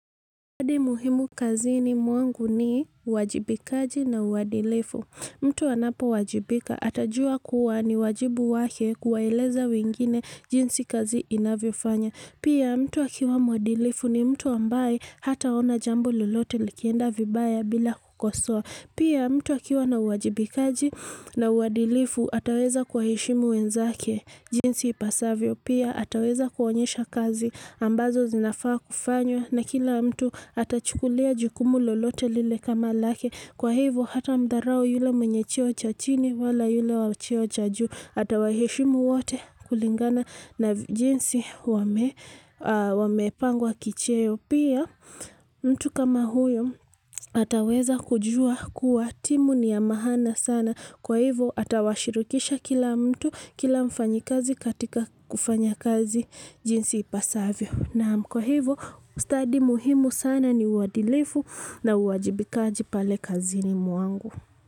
Mwadi muhimu kazini mwangu ni uwajibikaji na uadilifu. Mtu anapowajibika atajua kuwa ni wajibu wake kuwaeleza wengine jinsi kazi inavyofanya. Pia mtu akiwa mwadilifu ni mtu ambaye hataona jambo lolote likienda vibaya bila kukosoa. Pia mtu akiwa na uwajibikaji na uadilifu ataweza kuwaheshimu wenzake jinsi ipasavyo. Pia ataweza kuonyesha kazi ambazo zinafaa kufanywa na kila mtu atachukulia jukumu lolote lile kama lake kwa hivyo hatamdharau yule mwenye cheo cha chini wala yule wa cheo cha juu atawaheshimu wote kulingana na jinsi wamepangwa kicheo. Pia mtu kama huyo ataweza kujua kuwa timu ni ya maana sana kwa hivyo, atawashirikisha kila mtu kila mfanyikazi katika kufanya kazi jinsi ipasavyo. Naam kwa hivyo, ustadi muhimu sana ni uadilifu na uwajibikaji pale kazini mwangu.